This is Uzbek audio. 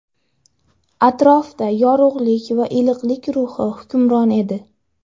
Atrofda yorug‘lik va iliqlik ruhi hukmron edi.